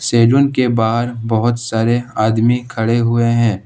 Salon के बाहर बहुत सारे आदमी खड़े हुए हैं।